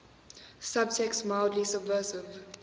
subtext mildly subversive